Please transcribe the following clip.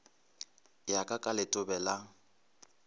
ya ka ka letobe la